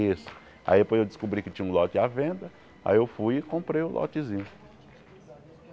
Isso, aí depois eu descobri que tinha um lote à venda, aí eu fui e comprei o lotezinho.